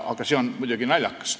Aga see on muidugi naljakas.